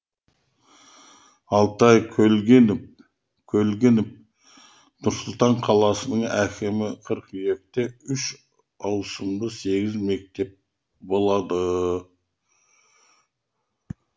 алтай көлгінов нұр сұлтан қаласының әкімі қыркүйекте үш ауысымды сегіз мектеп болады